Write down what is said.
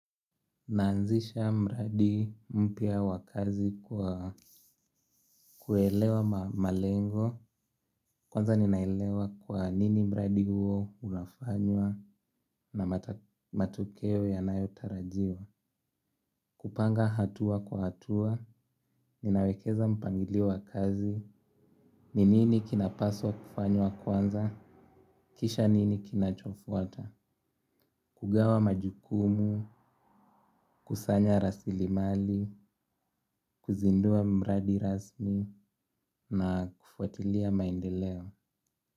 Naanzisha mradi mpya wa kazi kwa kuelewa malengo. Kwanza ninaelewa kwa nini mradi huo unafanywa na matokeo yanayotarajiwa. Kupanga hatua kwa hatua, ninawekeza mpangilio wa kazi. Ni nini kinapaswa kufanywa kwanza, kisha nini kinachofuata. Kugawa majukumu, kusanya rasilimali, kuzindua mradi rasmi na kufuatilia maendeleo.